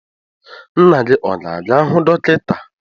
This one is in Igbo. Nna gị ọ ga-aga hụ dọkịta?